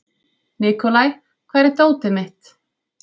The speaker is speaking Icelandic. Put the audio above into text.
Nikolai, hvar er dótið mitt?